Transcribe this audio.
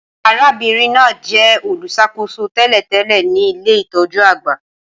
Arábìnrin náà jẹ olùṣàkóso tẹ́lẹ̀tẹ́lẹ̀ ti ilé-itọju àgbà